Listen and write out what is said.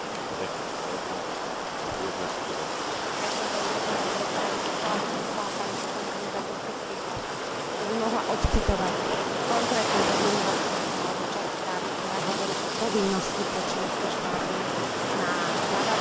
Chcela by som sa pani poslankyne Záborskej spýtať, keby mohla odcitovať konkrétny pozmeňujúci a doplňujúci návrh alebo časť správy, ktorá hovorí o povinnosti pre členské štáty zavádzať legislatívu pre manželstvá príslušníkov LGBT.